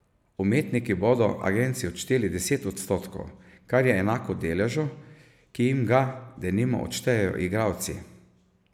Umetniki bodo agenciji odšteli deset odstotkov, kar je enako deležu, ki jim ga, denimo, odštejejo igralci.